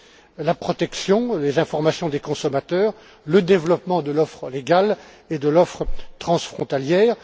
de la protection, des informations des consommateurs, du développement de l'offre légale et de l'offre transfrontalière.